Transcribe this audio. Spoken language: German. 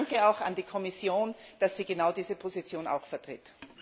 Danke auch an die Kommission, dass sie genau diese Position vertritt.